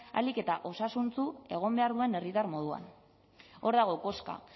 ahalik eta osasuntsu egon behar duen herritar moduan hor dago koska